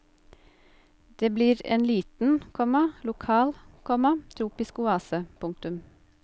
Det blir ein liten, komma lokal, komma tropisk oase. punktum